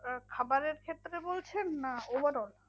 আহ খাবারের ক্ষেত্রে বলছেন? না overall